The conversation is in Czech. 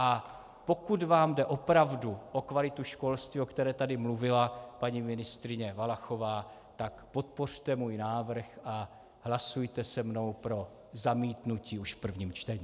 A pokud vám jde opravdu o kvalitu školství, o které tady mluvila paní ministryně Valachová, tak podpořte můj návrh a hlasujte se mnou pro zamítnutí už v prvním čtení.